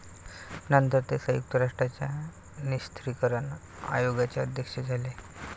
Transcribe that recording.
नंतर ते संयुक्त राष्ट्राच्या निषस्त्रिकरण आयोगाचे अध्यक्ष झाले